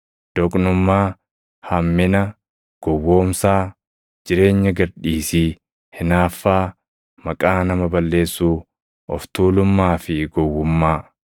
doqnummaa, hammina, gowwoomsaa, jireenya gad dhiisii, hinaaffaa, maqaa nama balleessuu, of tuulummaa fi gowwummaa.